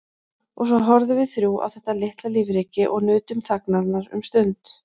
Og svo horfðum við þrjú á þetta litla lífríki og nutum þagnarinnar um stund.